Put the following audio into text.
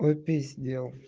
ну пиздец